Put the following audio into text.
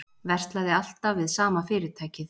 Verslaði alltaf við sama fyrirtækið